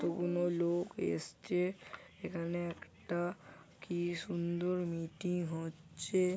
কতগুলো লোক এসছে। এখানে একটা কি সুন্দর মিটিং হচ্ছে।